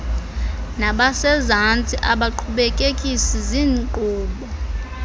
nabasezantsi abaqhubekekisi zinkqubo